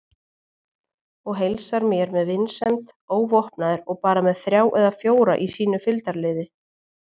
Og heilsar mér með vinsemd, óvopnaður og bara með þrjá eða fjóra í sínu fylgdarliði.